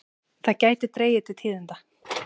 Það gæti dregið til tíðinda.